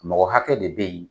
Mɔgɔ hakɛ de be yen